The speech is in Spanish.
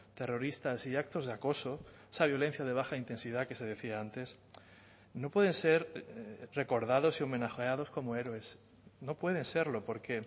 terroristas y actos de acoso esa violencia de baja intensidad que se decía antes no pueden ser recordados y homenajeados como héroes no pueden serlo porque